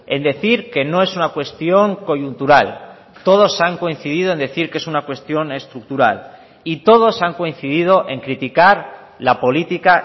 en decir que no es una cuestión coyuntural todos han coincidido en decir que es una cuestión estructural y todos han coincidido en criticar la política